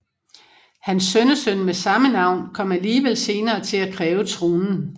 Hans sønnesøn med samme navn kom alligevel senere til at kræve tronen